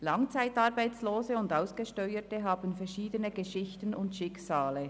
Langzeitarbeitslose und Ausgesteuerte haben verschiedene Geschichten und Schicksale.